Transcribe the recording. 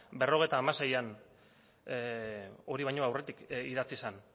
berrogeita hamaseian hori baino aurretik idatzi zen